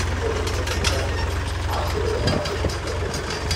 இப்போ நீங்க சொன்ன எல்லாத்தையும் ஹாஸ்டலோட வாட்ஸ்ஆப் குரூப்ல போட்டுடுறேன்.